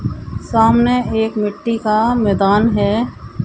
सामने एक मिट्टी का मैदान है।